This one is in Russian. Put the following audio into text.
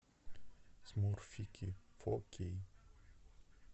смурфики фо кей